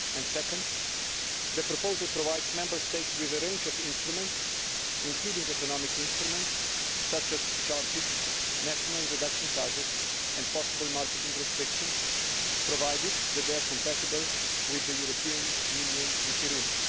Secondly, the proposal provides Member States with a range of instruments, including economic instruments such as charges, national reduction targets and possible marketing restrictions, provided that they are compatible with the European Union Treaty rules.